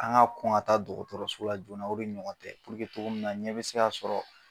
An ka kɔn ka taa dɔgɔtɔrɔso la joona la de ɲɔgɔn tɛ purke togo min na ɲɛ bɛ se ka sɔrɔ